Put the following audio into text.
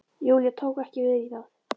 Júlía tók ekki vel í það.